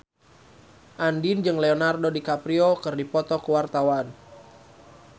Andien jeung Leonardo DiCaprio keur dipoto ku wartawan